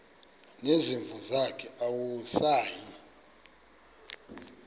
nezimvu zakhe awusayi